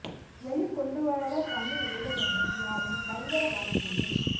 வெளிக்கொண்டுவ்ராத தமிழ் ஊடகங்கள் யாவும் பயங்கரவாதிகளின்